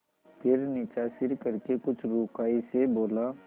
फिर नीचा सिर करके कुछ रूखाई से बोला